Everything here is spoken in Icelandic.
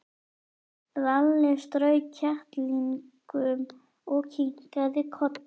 Lalli strauk kettlingnum og kinkaði kolli.